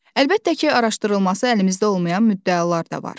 Əlbəttə ki, araşdırılması əlimizdə olmayan müddəalar da var.